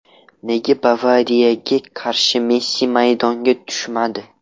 Nega Bavariyaga qarshi Messi maydonga tushmadi?